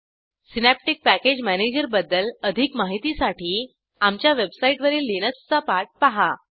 synaptic package manager बद्दल अधिक माहितीसाठी आमच्या वेबसाईटवरील लिनक्सचा पाठ पहा